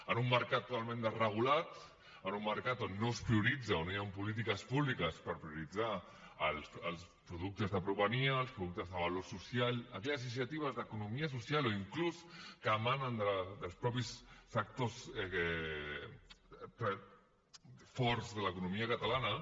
en un mercat totalment desregulat en un mercat on no es prioritza on no hi han polítiques públiques per prioritzar els productes de proximitat els productes de valor social aquelles iniciatives d’economia social o inclús que emanen dels mateixos sectors forts de l’economia catalana